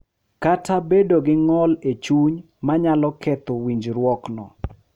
Kata bedo gi ng’ol e chuny ma nyalo ketho winjruokno.